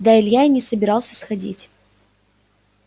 да илья и не собирался сходить